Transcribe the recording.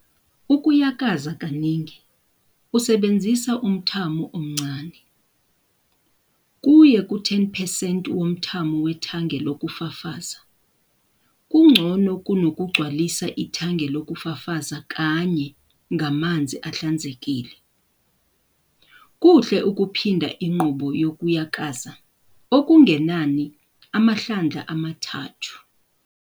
Ukuyakaza kaningi usebenzisa umthamo omncane, kuye ku-10 percent womthamo wethange lokufafaza, kungcono kunokugcwalisa ithange lokufafaza kanye ngamanzi ahlanzekile. Kuhle ukuphinda inqubo yokuyakaza okungenani amahlandla amathathu.